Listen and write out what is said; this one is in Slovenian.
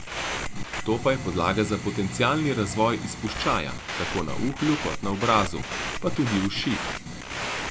To pa je podlaga za potencialni razvoj izpuščaja, tako na uhlju kot na obrazu, pa tudi uši!